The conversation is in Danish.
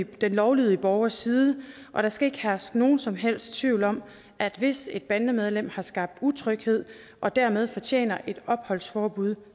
den lovlydige borgers side og der skal ikke herske nogen som helst tvivl om at hvis et bandemedlem har skabt utryghed og dermed fortjener et opholdsforbud